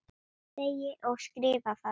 Segi og skrifa það.